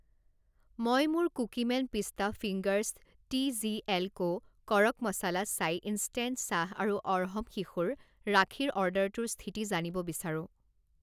মই মোৰ Cookieman pista fingers, TGL co. Kadak masala chai instant চাহ আৰু অৰ্হম শিশুৰ ৰাখীৰ অৰ্ডাৰটোৰ স্থিতি জানিব বিচাৰোঁ।